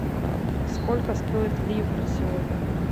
сколько стоит ливр сегодня